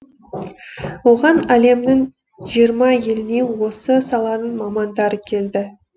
оған әлемнің жиырма елінен осы саланың мамандары келді